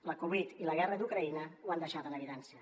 la covid i la guerra d’ucraïna ho han deixat en evidència